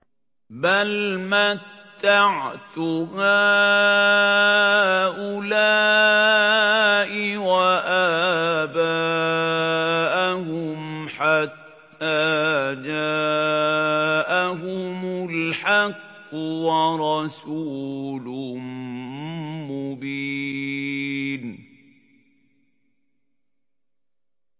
بَلْ مَتَّعْتُ هَٰؤُلَاءِ وَآبَاءَهُمْ حَتَّىٰ جَاءَهُمُ الْحَقُّ وَرَسُولٌ مُّبِينٌ